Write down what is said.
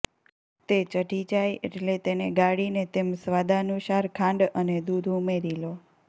તે ચઢી જાય એટલે તેને ગાળીને તેમ સાવાદાનુંસાર ખાંડ અને દૂધ ઉમેરી લો